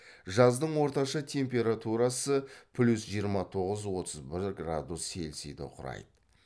жаздын орташа температурасы плюс жиырма тоғыз отыз бір градус цельсиді құрайды